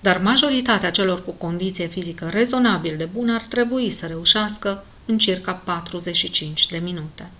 dar majoritatea celor cu condiție fizică rezonabil de bună ar trebui să reușească în circa 45 de minute